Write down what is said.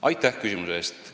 Aitäh küsimuse eest!